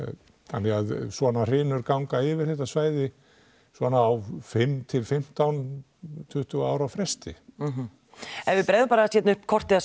þannig að svona hrynur ganga yfir þetta svæði svona fimm til fimmtán tuttugu ára fresti ef við bregðum bara aðeins upp kortinu